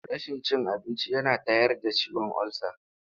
Rashin cin abinci yana tayar da ciwon olsa.